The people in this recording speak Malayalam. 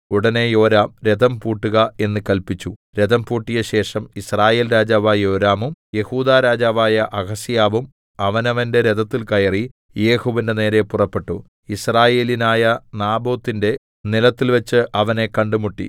ഉടനെ യോരാം രഥം പൂട്ടുക എന്ന് കല്പിച്ചു രഥം പൂട്ടിയശേഷം യിസ്രയേൽ രാജാവായ യോരാമും യെഹൂദാ രാജാവായ അഹസ്യാവും അവനവന്റെ രഥത്തിൽ കയറി യേഹൂവിന്റെ നേരെ പുറപ്പെട്ടു യിസ്രായേല്യനായ നാബോത്തിന്റെ നിലത്തിൽവെച്ച് അവനെ കണ്ടുമുട്ടി